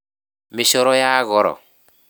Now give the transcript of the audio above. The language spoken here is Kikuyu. Mĩcoro ya goro.